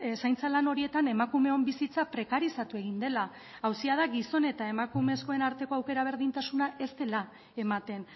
zaintza lan horietan emakumeon bizitza prekarizatu egin dela auzia da gizon eta emakumezkoen arteko aukera berdintasuna ez dela ematen